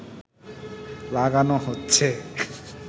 লাগানো হচ্ছে